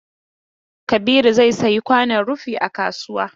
Kabiru zai sayi kwanon rufi a kasuwa.